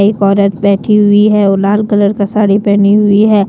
एक औरत बैठी हुई है और लाल कलर का साड़ी पहनी हुई है।